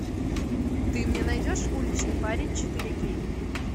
ты мне найдешь уличный парень четыре кей